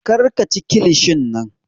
Kar ka chi kilishin nan!